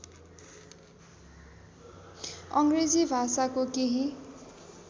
अङग्रेजी भाषाको केही